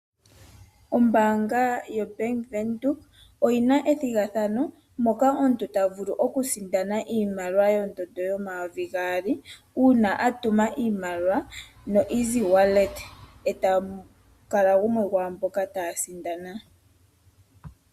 Ombaanga yo Bank Windhoek oyina ethigathano moka omuntu ta vulu okusindana iimaliwa yongushu yomayovi gaali, uuna a tuma iimaliwa no EasyWallet, e tamu kala gumwe ngoka ta sindana.